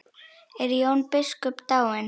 Er Jón biskup dáinn?